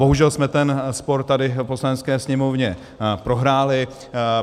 Bohužel jsme ten spor tady v Poslanecké sněmovně prohráli.